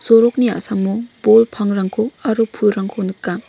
sorokni a·samo bol pangrangko aro pulrangko nika.